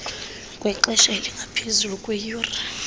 wexesha elingaphezu kweeyure